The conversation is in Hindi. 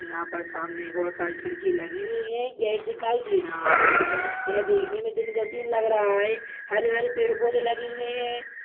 यहां पर सामने बहुत सारे खिड़की लगी हुई है एक गेट दिखाई दे रहा है यह देखने में दिन का सीन लग रहा है हरे-भरे पेड़-पौधे लगे हुए है।